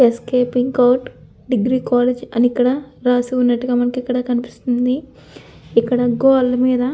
Escaping court degree college అని రాసిఉన్నట్టుగా మనకు ఇక్కడ కనిపిస్తుంది. ఇక్కడ గోడలమీద--